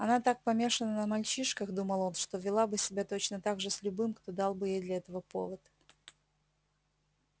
она так помешана на мальчишках думал он что вела бы себя точно так же с любым кто дал бы ей для этого повод